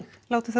látum það